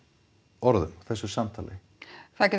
orðum þessu samtali það getur